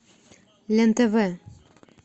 лен тв